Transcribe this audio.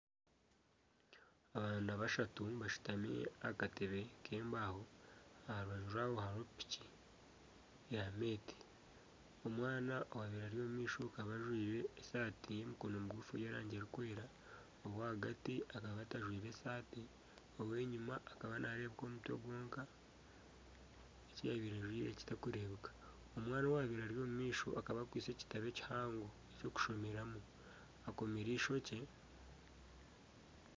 Abaana bashatu bashutami aha katebe k'embaaho aha rubaju aha hariho piki ya meeti. Omwana owabaire ari omu maisho aka ajwaire esaati y'emikono migufu y'erangi erikwera, ow'ahagati akaba atajwaire saati ow'enyima akaba naarebeka omutwe gwonka eki yabaire ajwaire kitakureebeka. Omwana owabaire ari omu maisho akaba akwaise ekitabo ekihango eky'okushomeramu akomire eishokye.